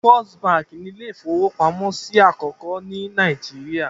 Fist Báńkì ni ilé-ìfowópamọ́sí àkọ́kọ́ ní Nàìjíríà.